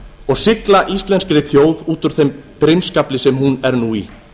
og sigla íslenskri þjóð út úr þeim brimskafli sem hún er nú í